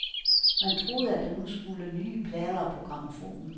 Man troede, at der nu skulle nye plader på grammofonen.